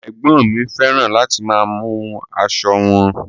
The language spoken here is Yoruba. Ẹgbọn mi fẹràn láti máa mú aṣọ wọn.